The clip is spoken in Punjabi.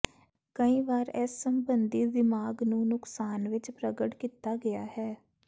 ਕਈ ਵਾਰ ਇਸ ਸਬੰਧੀ ਦਿਮਾਗ਼ ਨੂੰ ਨੁਕਸਾਨ ਵਿਚ ਪ੍ਰਗਟ ਕੀਤਾ ਗਿਆ ਹੈ